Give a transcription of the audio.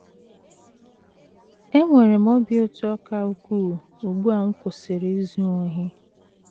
“ Enwere m obi ụtọ ka ukwuu ugbu a m kwụsịrị izu ohi..